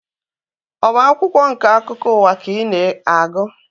Ọ bụ akwụkwọ nke akụkọ ụwa ka ị na-agụ?